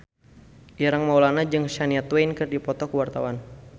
Ireng Maulana jeung Shania Twain keur dipoto ku wartawan